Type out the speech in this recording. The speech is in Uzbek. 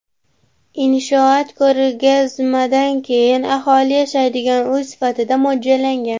Inshoot ko‘rgazmadan keyin aholi yashaydigan uy sifatida mo‘ljallangan.